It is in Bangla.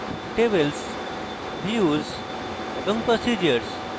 tables views এবং procedures